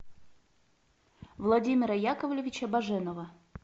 владимира яковлевича баженова